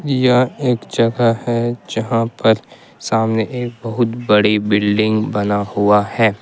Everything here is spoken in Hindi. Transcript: यह एक जगह है जहां पर सामने एक बहुत बड़ी बिल्डिंग बना हुआ है।